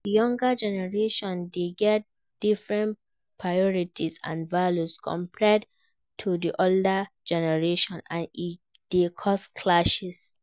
Di younger generation dey get different priorities and values compared to di older generation, and e dey cause clashes.